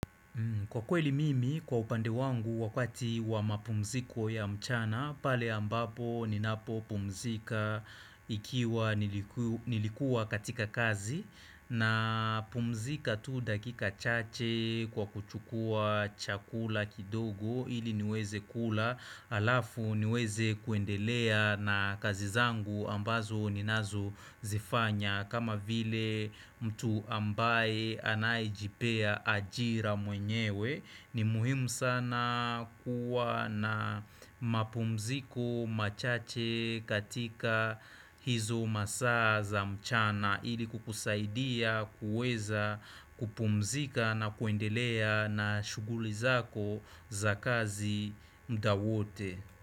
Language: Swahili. Kwa kweli mimi kwa upande wangu wakati wa mapumziko ya mchana pale ambapo ninapo pumzika ikiwa niliku nilikua katika kazi napumzika tu dakika chache kwa kuchukua chakula kidogo ili niweze kula alafu niweze kuendelea na kazi zangu ambazo ninazo zifanya kama vile mtu ambaye anayejipea ajira mwenyewe ni muhimu sana kuwa na mapumziko machache katika hizo masaa za mchana ili kukusaidia kuweza kupumzika na kuendelea na shughuli zako za kazi muda wote.